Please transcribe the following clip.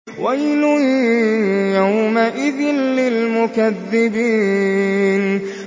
وَيْلٌ يَوْمَئِذٍ لِّلْمُكَذِّبِينَ